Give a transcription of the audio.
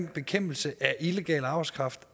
bekæmpelse af illegal arbejdskraft